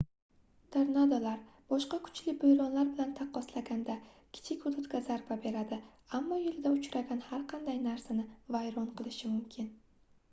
tornadolar boshqa kuchli boʻronlar bilan taqqoslaganda kichik hududga zarba beradi ammo yoʻlida uchragan har qanday narsani vayron qilishi mumkin